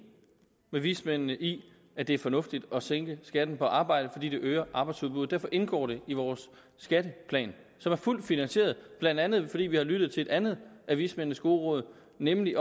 med vismændene i at det er fornuftigt at sænke skatten på arbejde fordi det øger arbejdsudbuddet derfor indgår det i vores skatteplan som er fuldt finansieret blandt andet fordi vi har lyttet til et andet af vismændenes gode råd nemlig